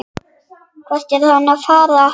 Hvert er hann að fara?